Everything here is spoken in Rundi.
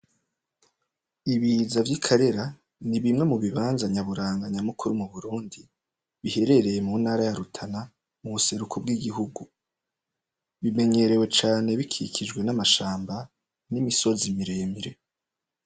Ibiza vy'ikarera nibimwe mubibanza nyaburanga nyamukuru m'Uburundi biherereye muntara ya Rutana m'ubuseruko bw'igihugu bimenyerewe cane bikikijwe n'amashamba n'imisozi miremire.